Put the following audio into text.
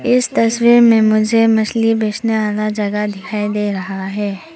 इस तस्वीर में मुझे मछली बेचने वाला जगह दिखाई दे रहा है।